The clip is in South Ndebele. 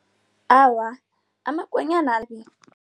Awa, amakonyana